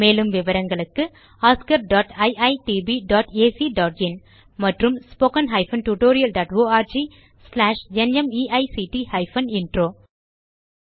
மேலும் விவரங்களுக்கு oscariitbacஇன் மற்றும் spoken tutorialorgnmeict இன்ட்ரோ